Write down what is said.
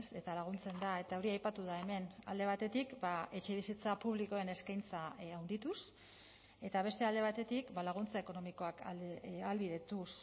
eta laguntzen da eta hori aipatu da hemen alde batetik etxebizitza publikoen eskaintza handituz eta beste alde batetik laguntza ekonomikoak ahalbidetuz